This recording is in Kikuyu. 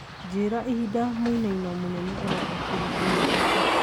njĩira ĩhinda mũinaino mũnene ũroka ũkaringa Nairobi